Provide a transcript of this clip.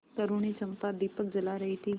तरूणी चंपा दीपक जला रही थी